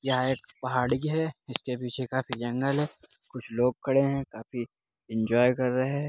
यहा एक पहाड़ी है जिसके पीछे काफी जंगल है कुछ लोग खड़े है काफी इन्जॉय कर रहे हैं।